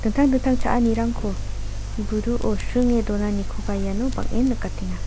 tang dingtang cha·anirangko buduo sringe donanikoba iano bang·en nikatenga.